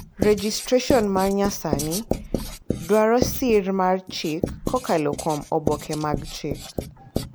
Rejistreson ma nyasani dwaro sir mar chik kokalo kuom oboke mag chik.